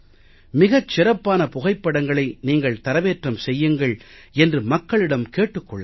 மிகச் சிறப்பான புகைப்படங்களை நீங்கள் தரவேற்றம் செய்யுங்கள் என்று மக்களிடம் கேட்டுக் கொள்ளலாம்